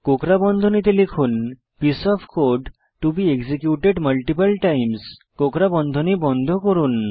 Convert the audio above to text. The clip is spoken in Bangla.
কোঁকড়া বন্ধনী খুলুন piece of code to be executed multiple times কোঁকড়া বন্ধনী বন্ধ করুন